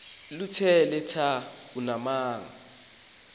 lokuthe tha ubuxoki